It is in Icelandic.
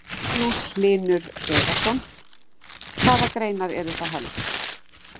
Magnús Hlynur Hreiðarsson: Hvaða greinar eru það helst?